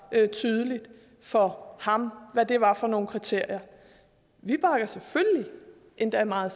tydeligt for ham hvad det var for nogen kriterier vi bakker selvfølgelig endda meget